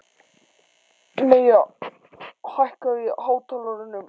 Maya, hækkaðu í hátalaranum.